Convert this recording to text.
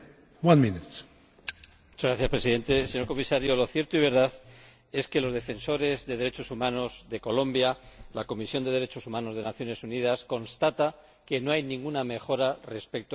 Señor Presidente, señor Comisario, lo cierto y verdad es que los defensores de los derechos humanos de Colombia y la Comisión de Derechos Humanos de las Naciones Unidas constatan que no hay ninguna mejora respecto al Gobierno del Presidente Uribe.